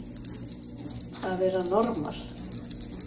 Að vera normal